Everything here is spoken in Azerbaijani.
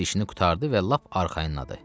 Hər bir işini qurtardı və lap arxayınladı.